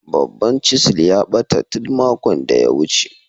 Babban "chisel " a bata tun makon da ya wuce.